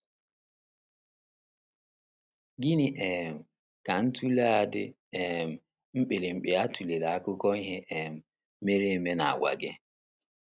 Gịnị um ka ntụle a a dị um mkpirikpi a tụlere akụkọ ihe um mere eme na - agwa gị?